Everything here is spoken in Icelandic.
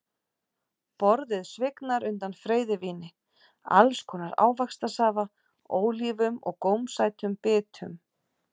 Borðið svignar undan freyðivíni, alls konar ávaxtasafa, ólífum og gómsætum bitum.